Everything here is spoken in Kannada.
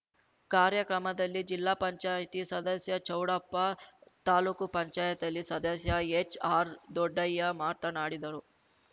ಕಾರ್ಯಕ್ರಮದಲ್ಲಿ ಜಿಲ್ಲಾಪಂಚಾಯ್ತಿ ಸದಸ್ಯ ಚೌಡಪ್ಪ ತಾಲೂಕುಪಂಚಾಯತಿಲಿ ಸದಸ್ಯ ಎಚ್ಆರ್ದೊಡ್ಡಯ್ಯ ಮಾತನಾಡಿದರು